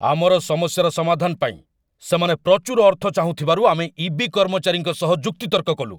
ଆମର ସମସ୍ୟାର ସମାଧାନ ପାଇଁ ସେମାନେ ପ୍ରଚୁର ଅର୍ଥ ଚାହୁଁଥିବାରୁ ଆମେ ଇ.ବି. କର୍ମଚାରୀଙ୍କ ସହ ଯୁକ୍ତିତର୍କ କଲୁ।